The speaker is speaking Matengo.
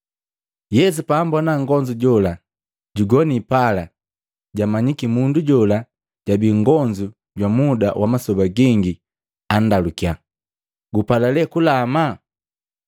Yesu paambona nngonzu jola jugoni pala jamanyiki mundu jola jabii nngonzu jwa muda wa masoba gingi andalukiya, “Gupala lee kulama?”